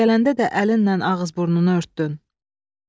Gələndə də əlinlə ağız-burnunu örtdün?"